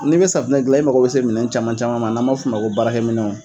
N'i bɛ safunɛ dilan, i magɔ bɛ se minɛn caman caman man, n'an b'a fɔ ma ko baarakɛ minɛnw.